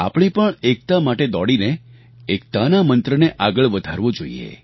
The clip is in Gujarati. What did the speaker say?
આપણે પણ એકતા માટે દોડીને એકતાના મંત્રને આગળ વધારવો જોઈએ